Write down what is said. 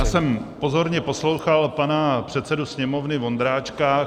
Já jsem pozorně poslouchal pana předsedu Sněmovny Vondráčka.